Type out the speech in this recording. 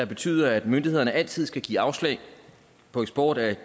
betyde at myndighederne altid skal give afslag på eksport af